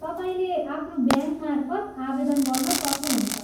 तपाईँले आफ्नो ब्याङ्कमार्फत आवेदन गर्न सक्नुहुन्छ।